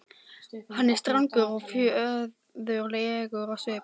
Hann er strangur og föður legur á svip.